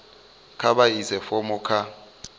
kha vha ise fomo kha